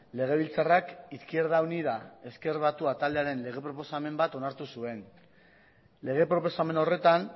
legebiltzarrak izquierda unida ezker batua taldearen proposamen bat onartu zuen lege proposamen horretan